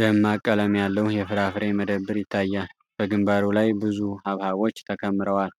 ደማቅ ቀለም ያለው የፍራፍሬ መደብር ይታያል። በግንባሩ ላይ ብዙ ሐብሐቦች ተከምረዋል።